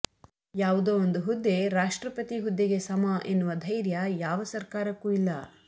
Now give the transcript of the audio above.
ಯಾವುದೋ ಒಂದು ಹುದ್ದೆ ರಾಷ್ಟ್ರಪತಿ ಹುದ್ದೆಗೆ ಸಮ ಎನ್ನುವ ಧೈರ್ಯ ಯಾವ ಸರ್ಕಾರಕ್ಕೂ ಇಲ್ಲ